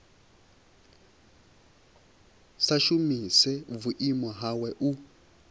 sa shumise vhuimo hawe u